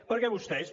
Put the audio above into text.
perquè vostès